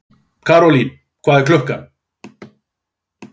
Karólín, hvað er klukkan?